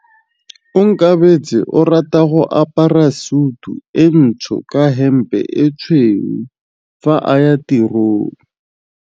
Onkabetse o rata go apara sutu e ntsho ka hempe e tshweu fa a ya tirong.